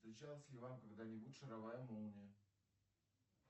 встречалась ли вам когда нибудь шаровая молния